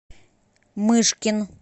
мышкин